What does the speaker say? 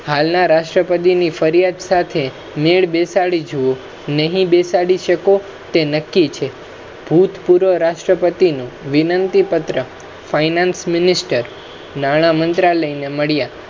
હાલના રાષ્ટ્રપતિની ફરિયાદ સાથે મેળ બેસાડી જુવો, નહી બેસાડી શકો તે નક્કી છે ભૂતપૂર્વ રાષ્ટ્રપતિનુ વિનંતિપત્ર, finance mininster નાણા મંત્રાલયના મળયા